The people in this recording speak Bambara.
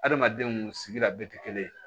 Adamadenw sigira bɛɛ tɛ kelen ye